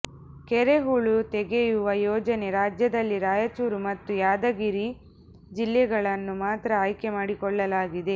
ಕೆರೆ ಹೂಳು ತೆಗೆಯುವ ಯೋಜನೆ ರಾಜ್ಯದಲ್ಲಿ ರಾಯಚೂರು ಮತ್ತು ಯಾದಗಿರಿ ಜಿಲ್ಲೆಗಳನ್ನು ಮಾತ್ರ ಆಯ್ಕೆ ಮಾಡಿಕೊಳ್ಳಲಾಗಿದೆ